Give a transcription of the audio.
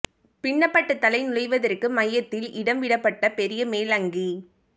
பின்னப்பட்ட தலை நுழைவதற்கு மையத்தில் இடம் விடப்பட்ட பெரிய மேல் அங்கி